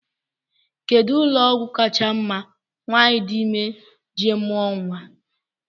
Kedụ ụlọọgwụ kacha mma nwaanyị di ime ije mụọ nnwa?